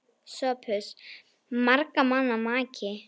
SOPHUS: Margra manna maki!